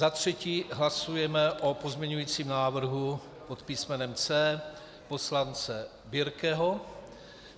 Za třetí hlasujeme o pozměňovacím návrhu pod písmenem C poslance Birkeho.